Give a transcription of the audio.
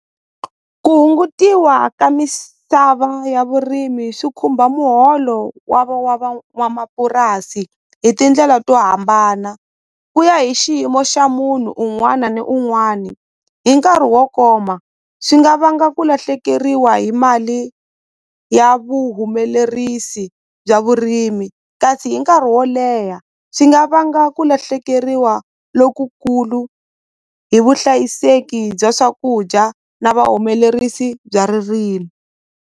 Ku hungutiwa ka misava ya vurimi swi khumba muholo wa wa van'wamapurasi hi tindlela to hambana ku ya hi xiyimo xa munhu un'wani na un'wani hi nkarhi wo koma swi nga vanga ku lahlekeriwa hi mali ya vuhumelerisi bya vurimi kasi hi nkarhi wo leha swi nga vanga ku lahlekeriwa lokukulu hi vuhlayiseki bya swakudya na vuhumelerisi bya .